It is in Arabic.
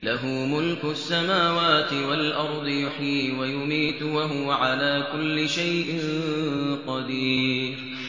لَهُ مُلْكُ السَّمَاوَاتِ وَالْأَرْضِ ۖ يُحْيِي وَيُمِيتُ ۖ وَهُوَ عَلَىٰ كُلِّ شَيْءٍ قَدِيرٌ